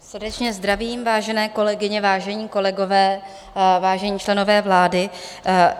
Srdečně zdravím, vážené kolegyně, vážení kolegové, vážení členové vlády.